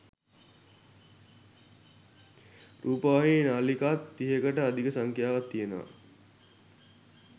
රූපවාහිනි නාළිකාත් තිහකට අධික සංඛ්‍යාවක් තියෙනව.